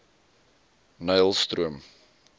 nylstroom